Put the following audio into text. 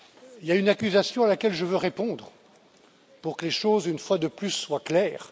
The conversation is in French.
Il y a une accusation à laquelle je veux répondre pour que les choses, une fois de plus, soient claires.